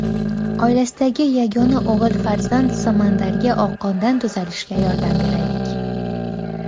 Oilasidagi yagona o‘g‘il farzand Samandarga oqqondan tuzalishga yordam beraylik!.